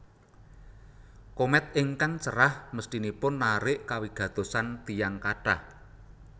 Komèt ingkang cerah mesthinipun narik kawigatosan tiyang kathah